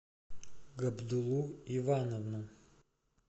габдуллу ивановну